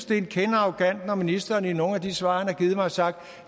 det er en kende arrogant når ministeren i nogle af de svar han har givet mig har sagt